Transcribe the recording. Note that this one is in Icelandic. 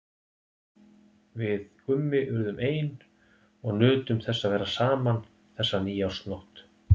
Við Gummi urðum ein og nutum þess að vera saman þessa nýársnótt.